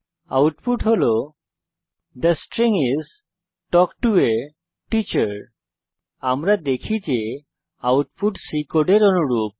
output হল the string is talk to A teacher আমরা দেখতে পারি যে আউটপুট আমাদের C কোডের অনুরূপ